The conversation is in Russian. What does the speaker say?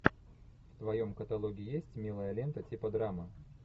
в твоем каталоге есть милая лента типа драмы